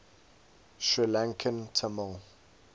sri lankan tamil